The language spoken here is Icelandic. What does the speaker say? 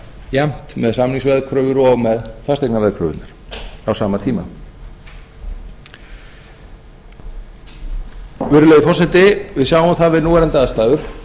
jafnt með samningsveðkröfur og með fasteignaveðkröfurnar á sama tíma virðulegi forseti við sjáum það við núverandi aðstæður